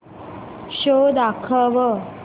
show दाखव